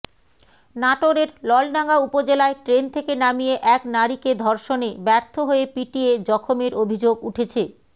নাটোরের নলডাঙ্গা উপজেলায় ট্রেন থেকে নামিয়ে এক নারীকে ধর্ষণে ব্যর্থ হয়ে পিটিয়ে জখমের অভিযোগ উঠেছে